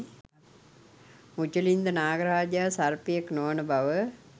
මුචලින්ද නාග රාජයා සර්පයෙක් නොවන බව